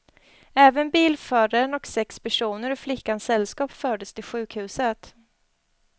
Även bilföraren och sex personer ur flickans sällskap fördes till sjukhuset.